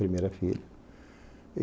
Primeira filha.